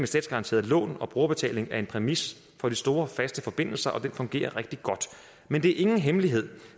statsgaranterede lån og brugerbetaling er en præmis for de store faste forbindelser og den fungerer rigtig godt men det er ingen hemmelighed